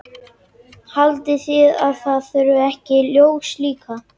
Haldið þið að það þurfi ekki ljós líka?